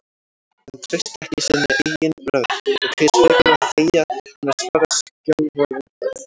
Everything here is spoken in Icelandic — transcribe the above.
Hann treysti ekki sinni eigin rödd og kaus frekar að þegja en að svara skjálfraddað.